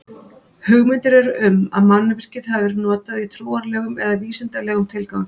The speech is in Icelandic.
Hugmyndir eru um að mannvirkið hafi verið notað í trúarlegum eða vísindalegum tilgangi.